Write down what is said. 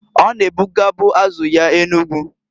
O na-ebugabu azu ya Enugu.